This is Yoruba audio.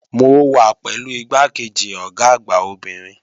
Mo wà pẹ̀lú igbákejì Ọ̀gá àgbà obìnrin